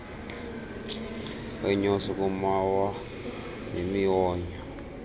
weenyosi kumawa nemiwonyo